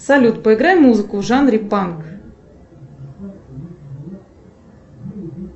салют поиграй музыку в жанре панк